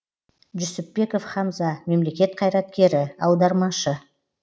жүсіпбеков хамза мемлекет қайраткері аудармашы